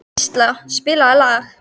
Gísla, spilaðu lag.